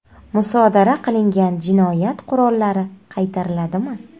Musodara qilingan jinoyat qurollari qaytariladimi?.